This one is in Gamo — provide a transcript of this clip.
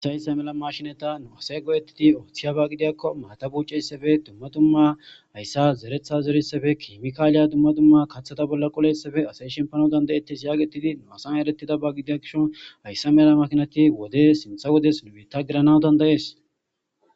hasay issa mela mashinata nu asay godettidi ooththiya ba gidiyakko maata bucessafe dumma dumma ayssa zeretha zerissafe kimikaaliya dumma dumma kaththata bolla qolessafe asay shempano dandayetis yaagetidi nu asan erettida ba gidiyakishon hayssa mela makinati wode sintha wodes numitta girana dandayees